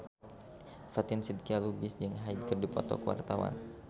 Fatin Shidqia Lubis jeung Hyde keur dipoto ku wartawan